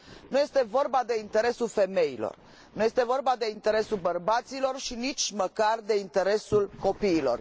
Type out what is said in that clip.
Nu este vorba de interesul femeilor, nu este vorba de interesul bărbaților și nici măcar de interesul copiilor.